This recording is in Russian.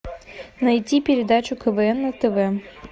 найти передачу квн на тв